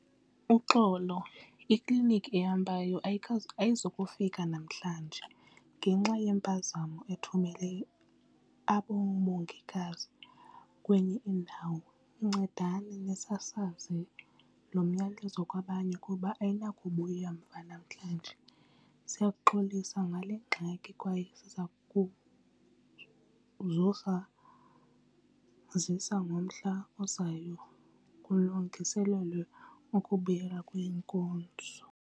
Uxolo ikliniki ehambayo ayizukufika namhlanje ngenxa yempazamo ithumelele abo mongikazi kwenye indawo. Ncedani nisasaze lo myalezo kwabanye kuba ayinakubuya mva namhlanje. Siyaxolisa ngale ngxaki kwaye siza kuzozazisa ngomhla ozayo kulungiselelwe ukubuyela kweenkonzo.